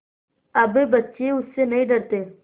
अब बच्चे उससे नहीं डरते